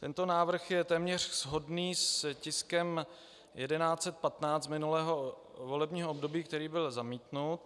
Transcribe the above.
Tento návrh je téměř shodný s tiskem 1115 minulého volebního období, který byl zamítnut.